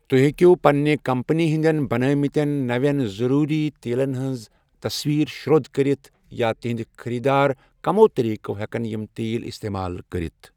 تہۍ ہیٚکِو پنٛنہِ كمپنی ہٕندٮ۪ن بنٲوۍمتٮ۪ن نوٮ۪ن ضوٚروٗری تیٖلن ہٕنٛزٕ تصویٖرٕ شرو٘د کٔرِتھ یا تُہٕنٛدِ خریٖدار کمو طریٖقو ہٮ۪کن یم تیٖل استعمال کٔرتھ۔